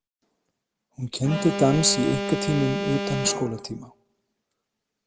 Hún kenndi dans í einkatímum utan skólatíma.